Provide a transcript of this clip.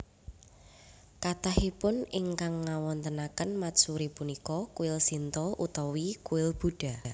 Kathahipun ingkang ngawontenaken matsuri punika kuil Shinto utawi kuil Buddha